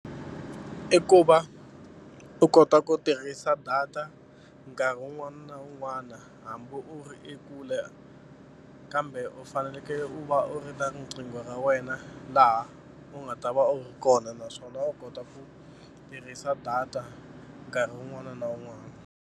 I ku va u kota ku tirhisa data nkarhi un'wana na un'wana hambi u ri ekule kambe u fanekele u va u ri na riqingho ra wena laha u nga ta va u ri kona naswona u kota ku tirhisa data nkarhi un'wana na un'wana.